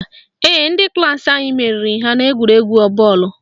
Ee, ndị klaasị anyị meriri ha n'egwuregwu bọọlụ